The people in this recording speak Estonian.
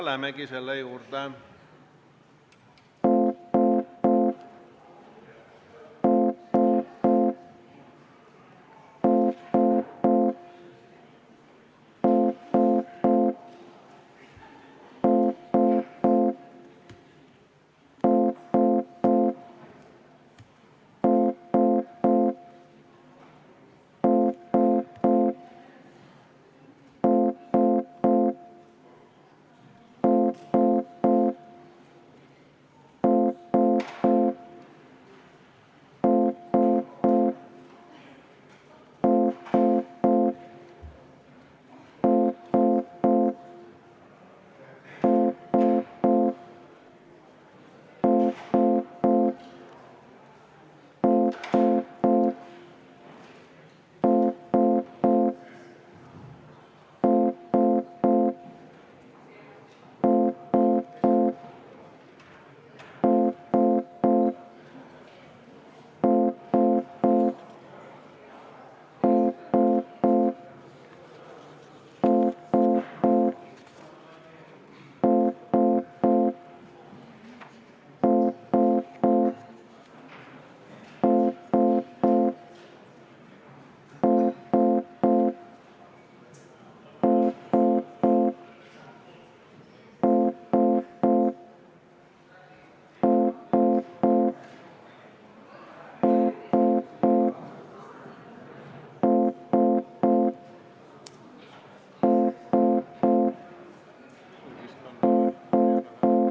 Lähemegi selle juurde.